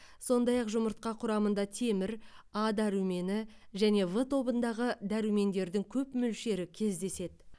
сондай ақ жұмыртқа құрамында темір а дәрумені және в тобындағы дәрумендердің көп мөлшері кездеседі